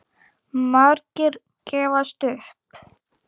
Margir gefast upp.